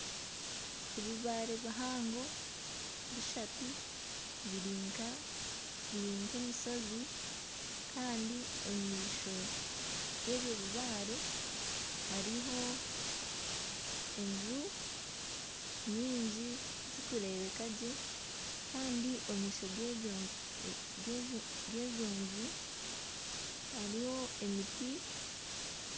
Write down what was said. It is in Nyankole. Ebibaare bishatu bihango biri nk'emishozi kandi omu maisho g'ebyo bibaare hariho enju nyingi zirikureebeka gye kandi omu maisho g'ezo nju hariho emiti